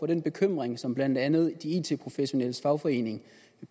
den bekymring som blandt andet de it professionelles fagforening